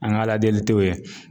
An ka ala deli tɛ o ye.